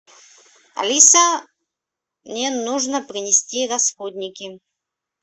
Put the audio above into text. алиса мне нужно принести расходники